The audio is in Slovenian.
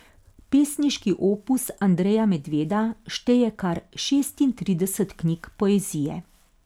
Pesniški opus Andreja Medveda šteje kar šestintrideset knjig poezije.